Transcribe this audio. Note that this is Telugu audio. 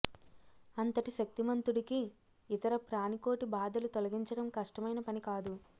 అంతటి శక్తిమంతుడికి ఇతర ప్రాణికోటి బాధలు తొలగించడం కష్టమైన పని కాదు